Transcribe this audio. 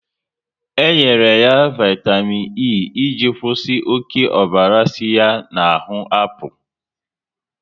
E nyere ya vaitamịn E iji kwụsị oké ọbara si ya na ahụ apụ